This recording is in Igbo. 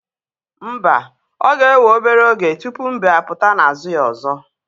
Mba ọ ga-ewe obere oge tupu mbe apụta na ázụ̀ ya ọzọ.